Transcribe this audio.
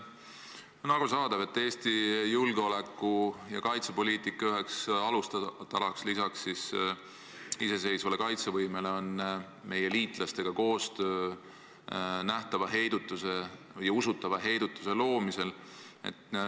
On arusaadav, et Eesti julgeoleku- ja kaitsepoliitika üks alustala lisaks iseseisvale kaitsevõimele on koostöö meie liitlastega nähtava, usutava heidutuse loomisel.